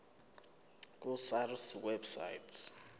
ku sars website